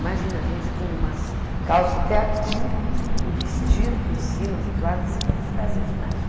Imagina a gente com umas calças até aqui, vestido por cima, butuado, assim que a gente fazia ginástica.